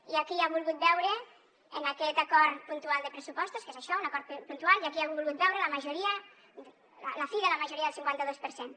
hi ha qui ha volgut veure en aquest acord puntual de pressupostos que és això un acord puntual la fi de la majoria del cinquanta dos per cent